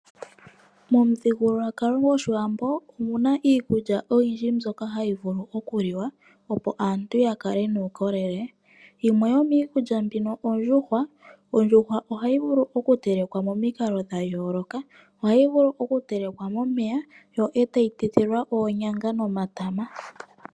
Momuthigululwakalo gwoshiwambo omuna iikulya oyindji mbyoka hayi vulu okuliwa opo aantu ya kale nuukolele. Yimwe yomiikulya mbino ondjuhwa. Ondjuhwa oha yi vulu okutelekwa momikalo dhayooloka, oha yi vulu oku telekwa momeya, yo ee ta yi tetelwa oonyanga nomatama.